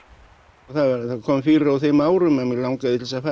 það kom fyrir á þeim árum að mig langaði til þess að fara